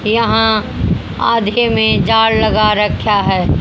यहां आदके में जाल लगा रख्या है।